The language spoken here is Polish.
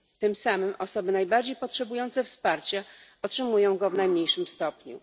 Tym samym osoby najbardziej potrzebujące wsparcia otrzymują je w najmniejszym stopniu.